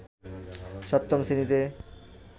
সপ্তম শ্রেণীতে